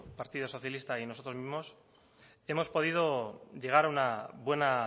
partido socialista y nosotros mismos hemos podido llegar a una buena